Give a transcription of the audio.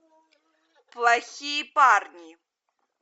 плохие парни